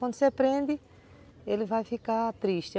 Quando você prende, ele vai ficar triste.